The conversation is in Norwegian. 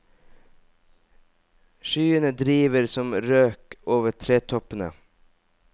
Skyene driver som røk over tretoppene.